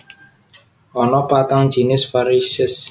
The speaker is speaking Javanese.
Ana patang jinis varisès